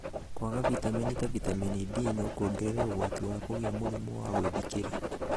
Kwaga vitamini ta vitamini D no kũongerere ũgwati wa kũgĩa mũrimũ wa gwĩthikĩra.